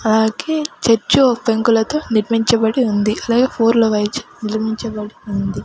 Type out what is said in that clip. అలాగే చర్చ్ ఓ పెంకులతో నిర్మించబడి ఉంది అలాగే నిర్మించబడి ఉంది.